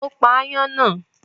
Ó pa aáyán náà?